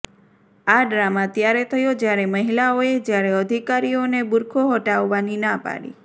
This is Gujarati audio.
આ ડ્રામા ત્યારે થયો જ્યારે મહિલાઓએ જ્યારે અધિકારીઓને બુરખો હટાવવાની ના પાડી